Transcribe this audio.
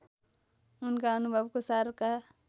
उनका अनुभवको सारका